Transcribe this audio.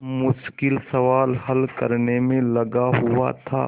मुश्किल सवाल हल करने में लगा हुआ था